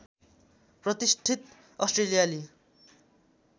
प्रतिष्ठित अस्ट्रेलियाली